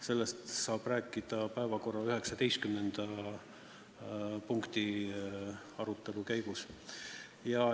Sellest saab rääkida päevakorra 20. punkti arutelu käigus.